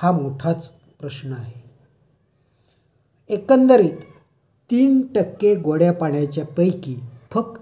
हा मोठा प्रश्न आहे. एकंदरीत तीन टक्के गोड्या पाण्याच्या पैकी फक्त...